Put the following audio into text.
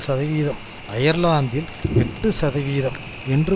சதவிகிதம் அயர்லாந்தில் எட்டு சதவிகிதம் என்று